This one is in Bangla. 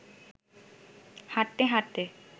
হাঁটতে হাঁটতে